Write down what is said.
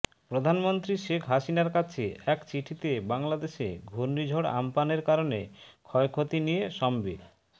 প্রধানমন্ত্রী শেখ হাসিনার কাছে এক চিঠিতে বাংলাদেশে ঘূর্ণিঝড় আম্পানের কারণে ক্ষয়ক্ষতি নিয়ে সমবে